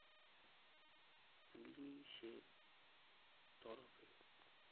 পুলিশের তরফে